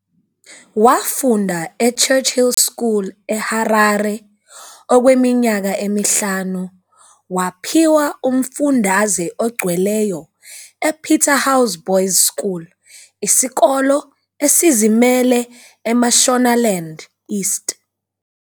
Wafunda eChurchill School eHarare okweminyaka emihlanu waphiwa umfundaze ogcweleyo ePeterhouse Boys' School, isikolo esizimele eMashonaland East.